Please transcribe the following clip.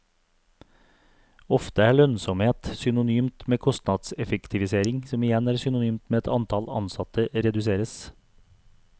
Ofte er lønnsomhet synonymt med kostnadseffektivisering, som igjen er synonymt med at antall ansatte reduseres.